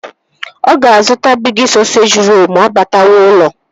Ọ ga-azụta Bigi sọseji rolu ma ọ batawa ụlọ